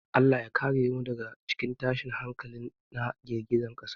Allah ya kare mu daga tashin hankali na girgizar ƙasa.